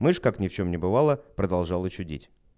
мышь как ни в чем ни бывало продолжала чудить